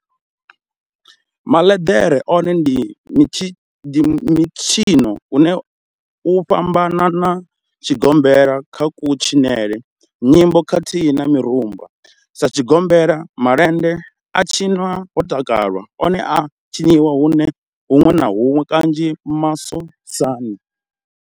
Maḽendere one ndi mitshino une u a fhambana na tshigombela kha kutshinele, nyimbo khathihi na mirumba. Sa tshigombela, malende a tshinwa ho takalwa, one a a tshiniwa hunwe na hunwe kanzhi masosani.